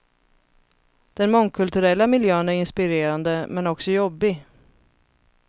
Den mångkulturella miljön är inspirerande, men också jobbig.